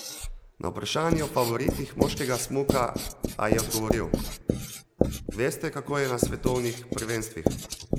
Na vprašanje o favoritih moškega smuka, a je odgovoril: "Veste, kako je na svetovnih prvenstvih?